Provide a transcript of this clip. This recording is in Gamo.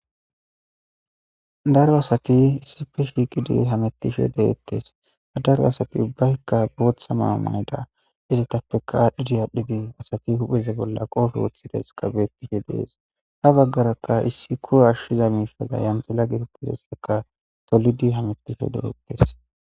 daro asati issife shigidi hamettisho de7ettes adaro asati ubbaykka booththa maa mayda izatappeka aadhdhidi aadhdhidi asati hupheze bolla qoosho woththides qabetishe dees ha baggarakka issi kura ashshiza miisha gayan xila giruppizesseka tolidi hamettisho de7ettes